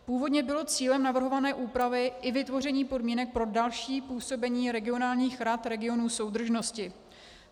Původně bylo cílem navrhované úpravy i vytvoření podmínek pro další působení regionálních rad regionů soudržnosti.